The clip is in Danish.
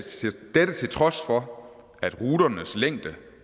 dette til trods for at ruternes længde